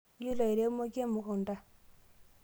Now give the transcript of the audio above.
iyiolo airemoki emukunta?